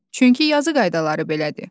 Çünki yazı qaydaları belədir.